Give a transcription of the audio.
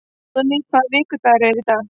Óðný, hvaða vikudagur er í dag?